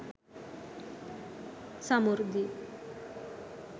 samurdhi